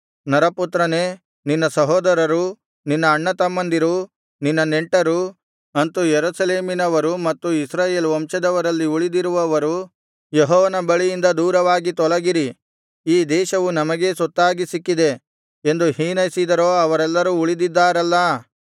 ನರಪುತ್ರನೇ ನಿನ್ನ ಸಹೋದರರು ನಿನ್ನ ಅಣ್ಣತಮ್ಮಂದಿರು ನಿನ್ನ ನೆಂಟರು ಅಂತು ಯೆರೂಸಲೇಮಿನವರು ಮತ್ತು ಇಸ್ರಾಯೇಲ್ ವಂಶದವರಲ್ಲಿ ಉಳಿದಿರುವವರು ಯೆಹೋವನ ಬಳಿಯಿಂದ ದೂರವಾಗಿ ತೊಲಗಿರಿ ಈ ದೇಶವು ನಮಗೇ ಸ್ವತ್ತಾಗಿ ಸಿಕ್ಕಿದೆ ಎಂದು ಹೀನೈಸಿದರೋ ಅವರೆಲ್ಲರು ಉಳಿದಿದ್ದಾರಲ್ಲಾ